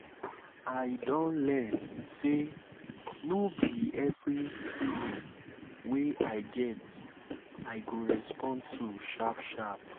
i don learn sey no be be every feeling wey i get i go respond to sharp sharp